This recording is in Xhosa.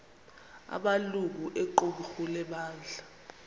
amalungu equmrhu lebandla